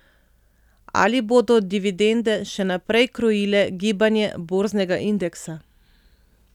Ali bodo dividende še naprej krojile gibanje borznega indeksa?